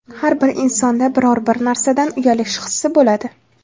Har bir insonda biror-bir narsadan uyalish hissi bo‘ladi.